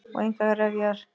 Og engar refjar.